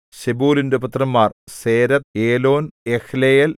സെബൂലൂന്റെ പുത്രന്മാർ Sered Elon Jahleel